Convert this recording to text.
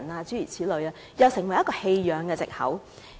這又成為一個棄養的藉口。